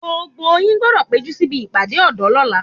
Gbogbo yín gbọ́dọ̀ péjú síbi ìpàdé ọ̀dọ́ lọ́la